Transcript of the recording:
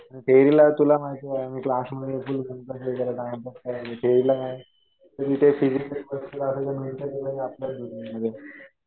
थेरीला तुला माहितीये मी क्लास मध्ये फुल थेरीला काय. तुम्ही ते फिजिकली बसले असेल तर भाई मेंटली आपल्याच दुनियेमध्ये.